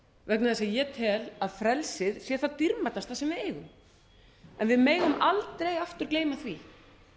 vegna þess að ég tel að frelsið sé það dýrmætasta sem við eigum við megum aldrei aftur gleyma því